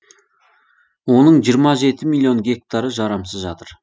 оның жиырма жеті миллион гектары жарамсыз жатыр